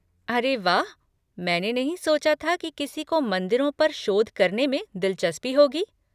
अरे वाह, मैंने नहीं सोचा था कि किसी को मंदिरों पर शोध करने में दिलचस्पी होगी।